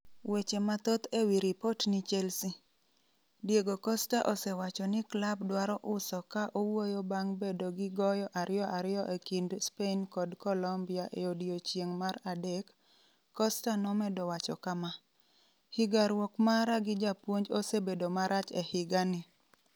Weche mathoth ewi ripot ni Chelsea: Diego Costa osewacho ni klab dwaro uso Ka owuoyo bang' bedo gi goyo 2-2 e kind Spain kod Colombia e odiechieng' mar adek, Costa nomedo wacho kama: "Higaruok mara gi japuonj osebedo marach e higa ni.